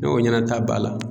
Ne ko ɲɛnata b'a la.